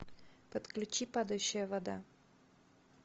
подключи падающая вода